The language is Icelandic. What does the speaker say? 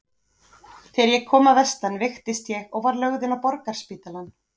Þegar ég kom að vestan veiktist ég og var lögð inn á Borgarspítalann.